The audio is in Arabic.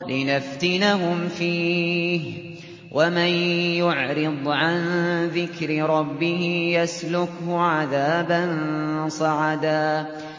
لِّنَفْتِنَهُمْ فِيهِ ۚ وَمَن يُعْرِضْ عَن ذِكْرِ رَبِّهِ يَسْلُكْهُ عَذَابًا صَعَدًا